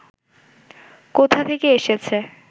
কোথা থেকে এসেছে